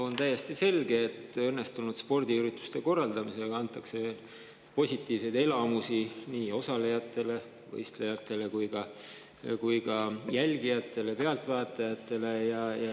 On täiesti selge, et õnnestunud spordiürituste korraldamisega antakse positiivseid elamusi nii osalejatele ehk võistlejatele kui ka jälgijatele, pealtvaatajatele.